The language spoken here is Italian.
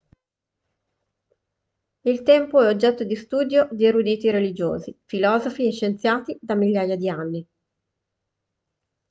il tempo è oggetto di studio di eruditi religiosi filosofi e scienziati da migliaia di anni